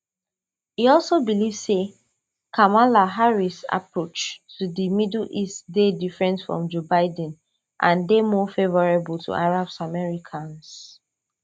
e also believe say kamala harris approach to di middle east dey different from joe biden and dey more favourable to arab americans